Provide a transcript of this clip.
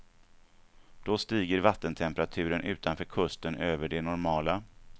Då stiger vattentemperaturen utanför kusten över den normala.